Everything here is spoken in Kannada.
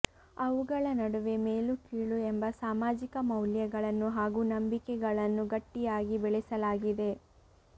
ಅವುಗಳ ನಡುವೆ ಮೇಲು ಕೀಳು ಎಂಬ ಸಾಮಾಜಿಕ ಮೌಲ್ಯಗಳನ್ನು ಹಾಗೂ ನಂಬಿಕೆಗಳನ್ನು ಗಟ್ಟಿಯಾಗಿ ಬೆಳೆಸಲಾಗಿದೆ